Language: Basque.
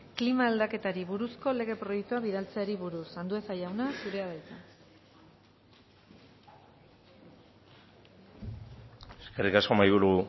klima aldaketari buruzko lege proiektua bidaltzeari buruz andueza jauna zurea da hitza eskerrik asko mahaiburu